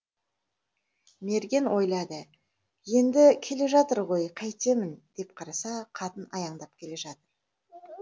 мерген ойлады енді келе жатыр ғой қайтемін деп қараса қатын аяңдап келе жатыр